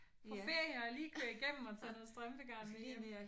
Og ferie og lige køre igennem og tage noget strømpegarn med hjem